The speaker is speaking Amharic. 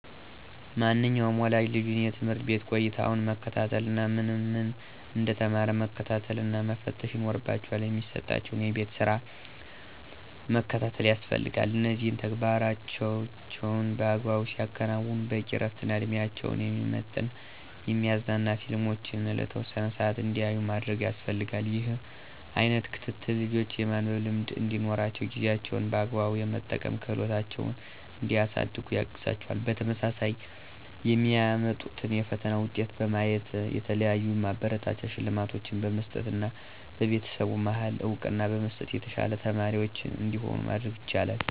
ማንኛውም ወላጅ ልጁን የትምህርት ቤት ቆይታውን መከታተል እና ምን ምን እንደተማረ መከታተልና መፈተሽ ይኖርባቸዋል። የሚሰጣቸውን የቤት ስራም መከታተል ያስፈልጋል እነዚህን ተግባሮቻቸውን በአግባቡ ሲያከናዉኑ በቂ እረፍትና እድሜያቸውን የሚመጥን የሚያዝናኑ ፊልሞችን ለተወሰነ ሰአት እንዲያዩ ማድረግ ያስፈልጋል። ይህ አይነት ክትትል ልጆች የማንበብ ልምድ እንዲኖራቸውና ጊዜያቸውን በአግባቡ የመጠቀም ክህሎታቸውን እንዲያሳድጉ ያግዛቸዋል። በተመሳሳይ የሚያመጡትን የፈተና ውጤት በማየት የተለያዩ ማበረታቻ ሽልማቶችን በመስጠትና በቤተሰቡ መሀል እውቅና በመስጠት የተሻሉ ተማሪዎች እንዲሆኑ ማድረግ ይቻላል።